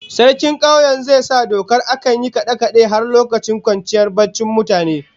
Sarkin kauyen zai sa dokar akan yin kade-kade har lokacin kwanciyar barcin mutane